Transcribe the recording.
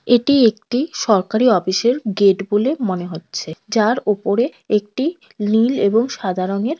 এটি একটি সরকারি অফিসের গেট বলে মনে হচ্ছে। যার ওপরে একটি নীল এবং সাদা রঙের।